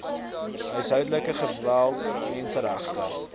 huishoudelike geweld menseregte